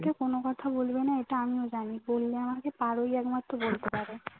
কোনো কথা বলবেনা এটা আমিও জানি বললে আমাকে পারুই একমাত্র বলতে পারে